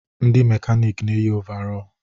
Ndị mekanịkị na eyi ọvarọọr.